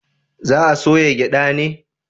Za a soya gyada ne?